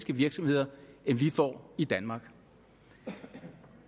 virksomheder end vi får i danmark